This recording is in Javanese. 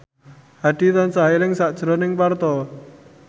Hadi tansah eling sakjroning Parto